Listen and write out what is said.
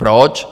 Proč?